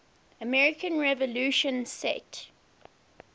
american revolution set